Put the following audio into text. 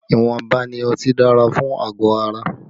Ìwọ̀nba ni ọtí dára fún àgọ̀ ara